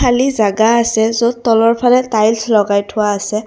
খালী জাগা আছে য'ত তলৰ ফালে টাইলছ লগাই থোৱা আছে।